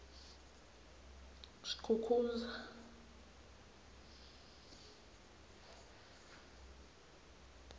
skukuza